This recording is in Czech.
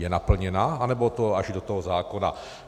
Je naplněna, anebo to až do toho zákona?